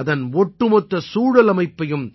அதன் ஒட்டுமொத்த சூழல் அமைப்பையும்